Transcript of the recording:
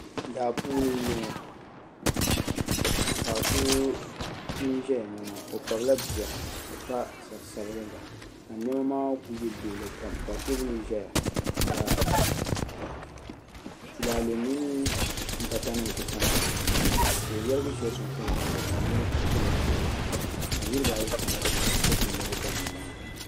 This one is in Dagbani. zaapuuni n bɔŋɔ paɣ' so n ʒɛ na maa o kpabila bia ka pa sarisabiliga ka nɛma maa kuli bɛ luɣili kam tɛbuli ʒɛya ka tulalɛɛ mini bata nim kuli tatam di zuɣ' ka o yirigi shɛli soŋ tiŋa gbani ka nɛma kuli kon gili luɣili ka niribaayi kana ni bɛ ti da nɛma maa